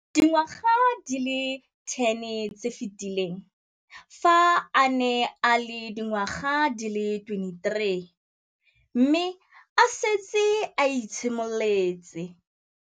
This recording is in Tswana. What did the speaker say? Dingwaga di le 10 tse di fetileng, fa a ne a le dingwaga di le 23 mme a setse a itshimoletse